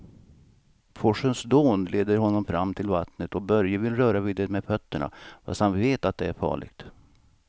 Forsens dån leder honom fram till vattnet och Börje vill röra vid det med fötterna, fast han vet att det är farligt.